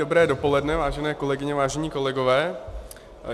Dobré dopoledne vážené kolegyně, vážení kolegové.